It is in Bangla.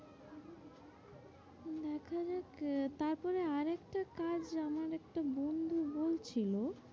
দেখ তারপরে আর একটা কাজ আমার একটা বন্ধু বলছিল,